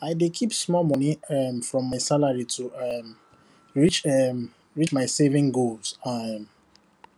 i dey keep small money um from my salary to um reach to um reach my saving goal um